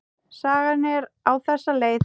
Sagan er á þessa leið: